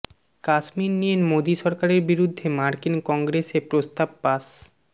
কাশ্মীর নিয়ে মোদি সরকারের বিরুদ্ধে মার্কিন কংগ্রেসে প্রস্তাব পাশ